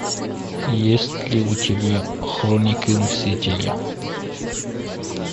есть ли у тебя хроники мстителя